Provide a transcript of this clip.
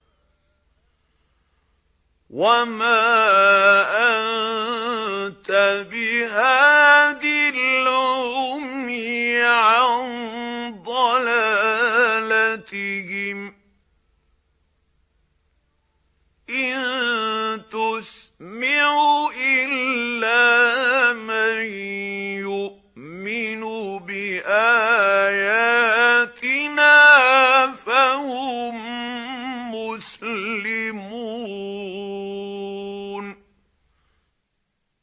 وَمَا أَنتَ بِهَادِي الْعُمْيِ عَن ضَلَالَتِهِمْ ۖ إِن تُسْمِعُ إِلَّا مَن يُؤْمِنُ بِآيَاتِنَا فَهُم مُّسْلِمُونَ